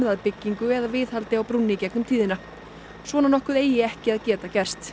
að byggingu eða viðhaldi á brúnni svona nokkuð eigi ekki að geta gerst